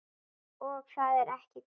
Og það er ekki gott.